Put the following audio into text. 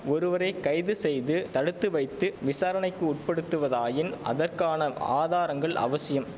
ஒருவரை கைது செய்து தடுத்துவைத்து விசாரணைக்கு உட்படுத்துவதாயின் அதற்கான ஆதாரங்கள் அவசியம்